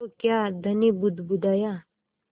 तो क्या धनी बुदबुदाया